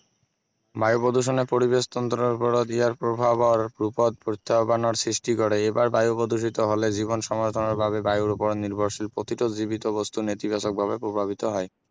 বায়ু প্ৰদূষণে পৰিবেশ তন্ত্ৰৰ ওপৰত ইয়াৰ প্ৰভাৱৰ ৰূপত প্ৰত্যাহ্বানৰ সৃষ্টি কৰে এইবাৰ বায়ু প্ৰদূষিত হলে জীৱন সমৰ্থনৰ বাবে বায়ুৰ ওপৰত নিৰ্ভৰশীল প্ৰতিটো জীৱিত বস্তু নেতিবাচকভাৱে প্ৰভাৱিত হয়